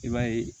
I b'a ye